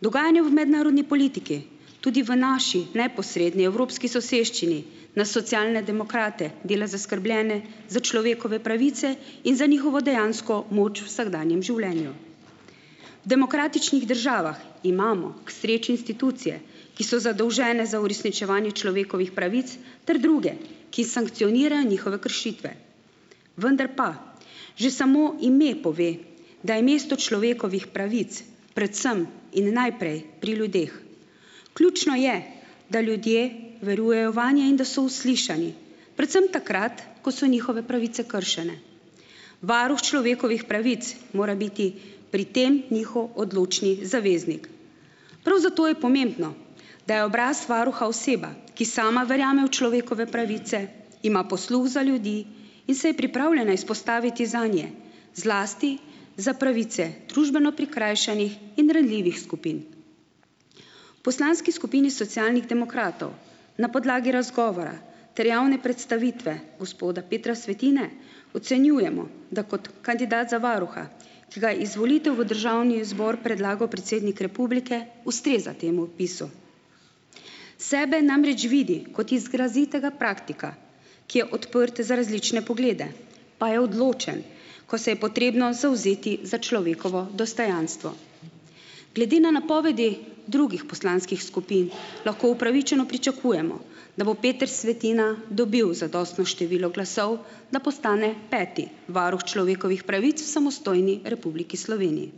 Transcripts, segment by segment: Dogajanje v mednarodni politiki, tudi v naši, neposredni evropski soseščini, nas Socialne demokrate dela zaskrbljene za človekove pravice in za njihovo dejansko moč vsakdanjem življenju. V demokratičnih državah imamo k sreči institucije, ki so zadolžene za uresničevanje človekovih pravic ter druge, ki sankcionirajo njihove kršitve, vendar pa že samo ime pove, da je mesto človekovih pravic predvsem in najprej pri ljudeh. Ključno je, da ljudje verujejo vanje in da so uslišani, predvsem takrat, ko so njihove pravice kršene. Varuh človekovih pravic mora biti pri tem njihov odločni zaveznik. Prav zato je pomembno, da je obraz varuha oseba, ki sama verjame v človekove pravice, ima posluh za ljudi in se je pripravljena izpostaviti zanje, zlasti za pravice družbeno prikrajšanih in ranljivih skupin. Poslanski skupini Socialnih demokratov na podlagi razgovora ter javne predstavitve gospoda Petra Svetine ocenjujemo, da kot kandidat za varuha, ki ga izvolitev v državni zbor predlagal predsednik republike, ustreza temu opisu. Sebe namreč vidi kot izrazitega praktika, ki je odprt za različne poglede, pa je odločen, ko se je potrebno zavzeti za človekovo dostojanstvo. Glede na napovedi drugih poslanskih skupin, lahko upravičeno pričakujemo, da bo Peter Svetina dobil zadostno število glasov, da postane peti varuh človekovih pravic v samostojni Republiki Sloveniji.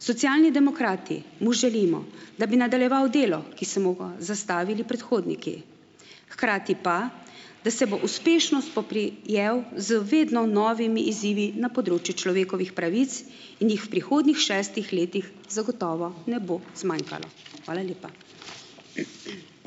Socialni demokrati mu želimo, da bi nadaljeval delo, ki se mu ga zastavili predhodniki, hkrati pa, da se bo uspešno spoprijel z vedno novimi izzivi na področju človekovih pravic in jih v prihodnjih šestih letih zagotovo ne bo zmanjkalo. Hvala lepa.